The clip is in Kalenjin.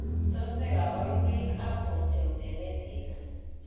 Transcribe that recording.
Tos nee kabarunaik ab Osteogenesis ?